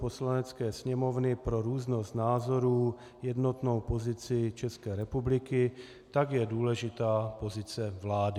Poslanecké sněmovny pro různost názorů jednotnou pozici České republiky, tak je důležitá pozice vlády.